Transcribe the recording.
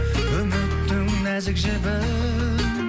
үміттің нәзік жібін